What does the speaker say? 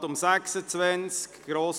Wir kommen zum Traktandum 26: